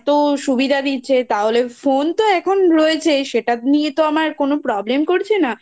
এত সুবিধা দিচ্ছে তাহলে Phone তো এখন রয়েছেই সেটা নিয়ে তো আমার কোনো Problem করছে না